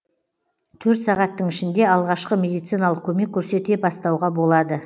төрт сағаттың ішінде алғашқы медициналық көмек көрсете бастауға болады